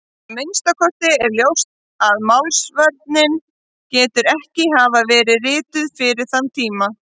Að minnsta kosti er ljóst að Málsvörnin getur ekki hafa verið rituð fyrir þann tíma.